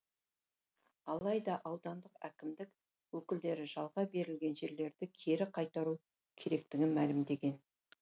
алайда аудандық әкімдік өкілдері жалға берілген жерлерді кері қайтару керектігін мәлімдеген